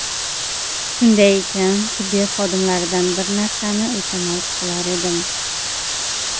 Shunday ekan, tibbiyot xodimlaridan bir narsani iltimos qilar edim.